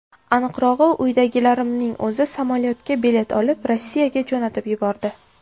Aniqrog‘i, uydagilarimning o‘zi samolyotga bilet olib, Rossiyaga jo‘natib yubordi.